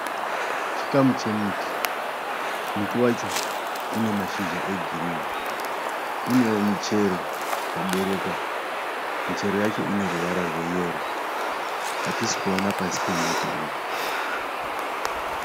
Chikamu chemuti. Muti wacho une mashizha egirinhi. Unowo michero yaberekwa. Muchero wacho uneruvara rweyero. Hatisi kuona pasi pemuti uyu.